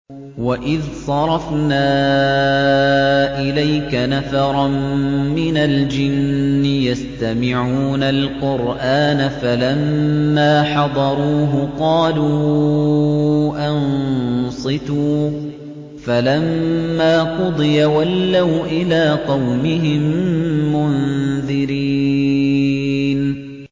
وَإِذْ صَرَفْنَا إِلَيْكَ نَفَرًا مِّنَ الْجِنِّ يَسْتَمِعُونَ الْقُرْآنَ فَلَمَّا حَضَرُوهُ قَالُوا أَنصِتُوا ۖ فَلَمَّا قُضِيَ وَلَّوْا إِلَىٰ قَوْمِهِم مُّنذِرِينَ